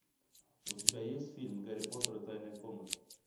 у тебя есть фильм гарри поттер и тайная комната